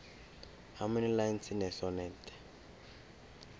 how many lines in a sonnet